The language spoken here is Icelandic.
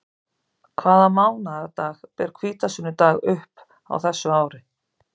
Hvaða mánaðardag ber hvítasunnudag upp á þessu ári?